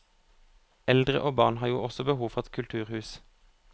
Eldre og barn har jo også behov for et kulturhus.